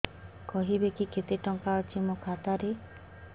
କହିବେକି କେତେ ଟଙ୍କା ଅଛି ମୋ ଖାତା ରେ